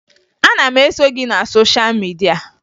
Ana m eso gị na sosha midia